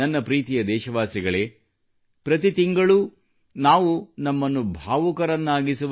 ನನ್ನ ಪ್ರೀತಿಯ ದೇಶವಾಸಿಗಳೇ ಪ್ರತಿ ತಿಂಗಳೂ ನಾವು ನಮ್ಮನ್ನು ಭಾವುಕರನ್ನಾಗಿಸುವ